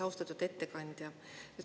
Austatud ettekandja!